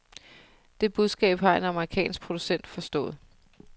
Det budskab har en amerikansk producent forstået.